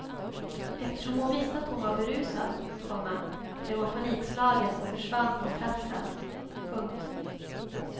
Eftersom hon visste att hon var berusad, komma blev hon panikslagen och försvann från platsen. punkt